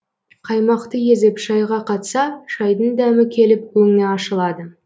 қаймақты езіп шайға қатса шайдің дәмі келіп өңі ашылады